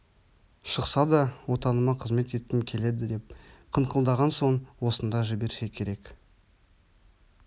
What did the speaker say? шықса да отаныма қызмет еткім келеді деп қыңқылдаған соң осында жіберсе керек